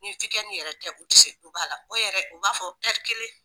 Ni yɛrɛ tɛ u tɛ se duba la o yɛrɛ u b'a fɔ kelen.